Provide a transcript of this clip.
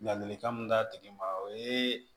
Ladilikan min d'a tigi ma o ye